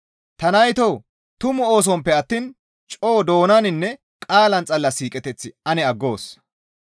Ta naytoo! Tumu oosonppe attiin coo doonaninne qaalan xalla siiqeteth ane aggoos.